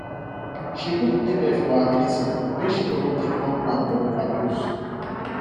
she put label for her medicine make she no go take wrong one or overdose